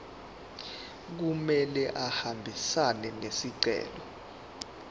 kumele ahambisane nesicelo